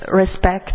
respect.